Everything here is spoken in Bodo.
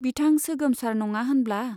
बिथां सोगोमसार नङा होनब्ला ?